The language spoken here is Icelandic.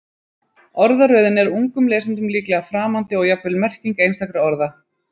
Orðaröðin er ungum lesendum líklega framandi og jafnvel merking einstakra orða.